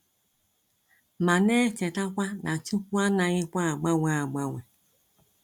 Ma na echetakwa na chukwu anaghị kwa agbanwe agbanwe.